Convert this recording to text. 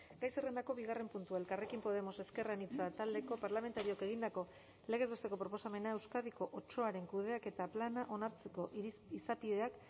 gai zerrendako bigarren puntua elkarrekin podemos ezker anitza taldeko parlamentarioak egindako legez besteko proposamena euskadiko otsoaren kudeaketa plana onartzeko izapideak